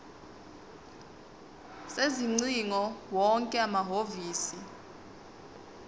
sezingcingo wonke amahhovisi